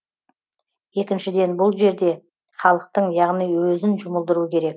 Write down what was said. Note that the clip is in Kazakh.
екіншіден бұл жерде халықтың яғни өзін жұмылдыру керек